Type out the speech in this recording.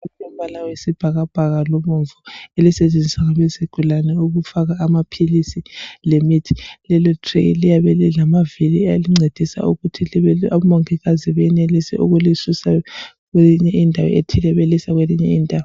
Itrayi elilamabala ayisibhakabhaka labomvu. Elisetshenziswa ngabezigulane, ukufaka amaphilisi, lemithi. Lelotreyi liyabe lilamavili. Alincedisa ukuthi omongikazi benelise ukullisusa kwenye indawo, belisa kwenye indawo.